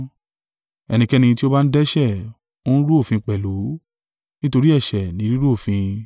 Ẹnikẹ́ni tí ó bá ń dẹ́ṣẹ̀, ó ń rú òfin pẹ̀lú, nítorí ẹ̀ṣẹ̀ ni rírú òfin.